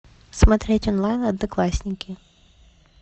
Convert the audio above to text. смотреть онлайн одноклассники